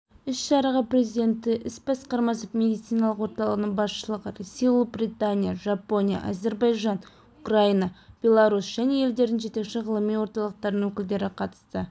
іс-шараға президенті іс басқармасы медициналық орталығының басшылығы ресей ұлыбритания жапония әзербайжан украина беларусь және елдердің жетекші ғылыми орталықтарының өкілдері қатысты